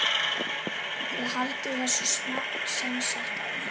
Þið haldið þessu semsagt áfram?